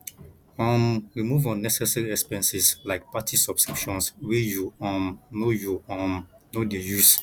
um remove unnecessary expenses like plenty subscriptions wey you um no you um no dey use